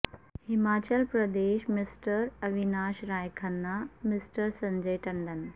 Himachal Pradesh mister Avinash Rai Khanna mister Sanjay Tandon